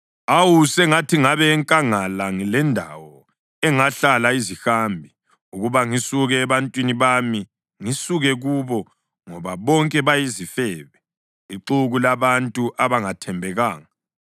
Awu, sengathi ngabe enkangala ngilendawo engahlala izihambi, ukuba ngisuke ebantwini bami ngisuke kubo, ngoba bonke bayizifebe, ixuku labantu abangathembekanga.